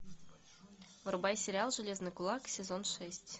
врубай сериал железный кулак сезон шесть